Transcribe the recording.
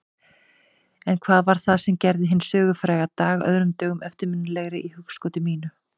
En hvað var það sem gerði hinn sögufræga dag öðrum dögum eftirminnilegri í hugskoti mínu?